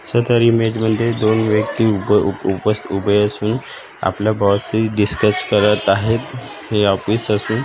सदर इमेज मध्ये दोन व्यक्ती उभ उपस उभे असून आपल्या बॉसशी डिस्कस करत आहेत हे ऑफिस असून--